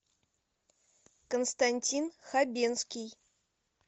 константин хабенский